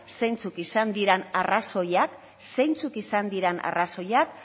zeintzuk izan diren arrazoiak